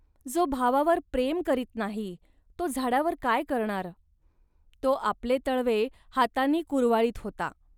जो भावावर प्रेम करीत नाही, तो झाडावर काय करणार. तो आपले तळवे हातांनी कुरवाळीत होता